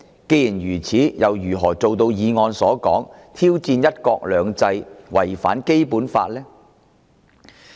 既然如此，他又如何做到議案所述的挑戰"一國兩制"及違反《基本法》呢？